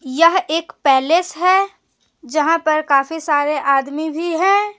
यह एक पैलेस है जहां पर काफी सारे आदमी भी हैं।